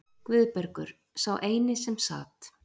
Guðbergur, sá eini sem sat.